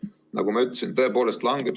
Nagu ma ütlesin, tõepoolest langeb.